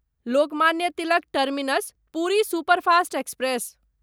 Lokmanya Tilak terminus Puri superfast express